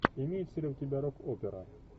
имеется ли у тебя рок опера